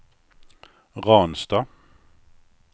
Ransta